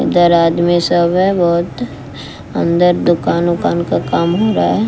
इधर आदमी सब है बहोत अंदर दुकान उकान का काम हो रहा है।